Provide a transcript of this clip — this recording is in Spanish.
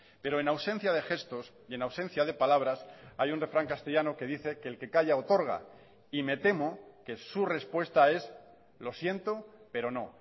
pero en ausencia de gestos y en ausencia de palabras hay un refrán castellano que dice que el que calla otorga y me temo que su respuesta es lo siento pero no